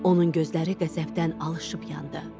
Onun gözləri qəzəbdən alışıb yandı.